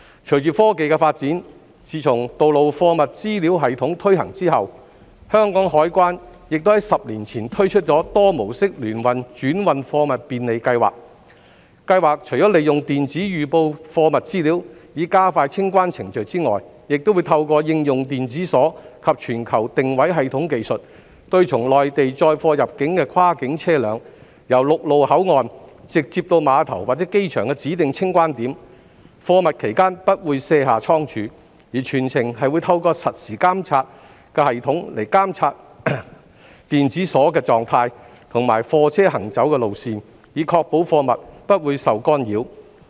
隨着科技的發展，自從"道路貨物資料系統"推行後，香港海關亦於10年前推出多模式聯運轉運貨物便利計劃，計劃除了利用電子預報貨物資料，以加快清關程序外，亦會透過應用電子鎖及全球定位系統技術，對從內地載貨入境的跨境車輛，由陸路口岸直接到碼頭或機場的指定清關點，貨物期間不會卸下倉儲，而全程會透過實時監察系統監察電子鎖的狀態及貨車行走路線，以確保貨物不會受干擾。